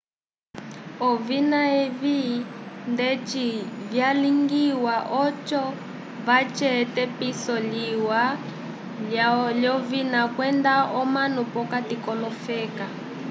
ovina evi ndeti vyalingiwa oco vace epitiso liwa lyovina kwenda omanu p'okati k'olofeka